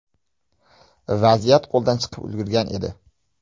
Vaziyat qo‘ldan chiqib ulgurgan edi.